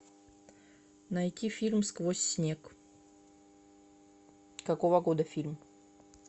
найти фильм сквозь снег какого года фильм